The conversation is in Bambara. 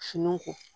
Finiw kɔ